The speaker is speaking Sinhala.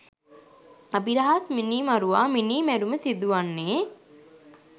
අබිරහස්‌ මිනීමරුවා මිනී මැරුම සිදුවන්නේ